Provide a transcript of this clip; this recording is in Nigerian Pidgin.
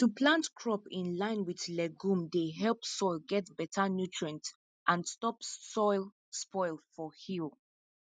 to plant crop in line with legume dey help soil get better nutrient and stop soil spoil for hill